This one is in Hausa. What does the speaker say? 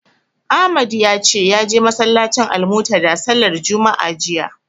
Ahmad ya ce ya je masallacin Almuntadha sallar juma'a jiya.